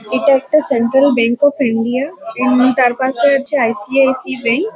এটা একটা Central Bank of India. Um তার পাশে আছে আই.সি.আই.সি. ব্যাঙ্ক ।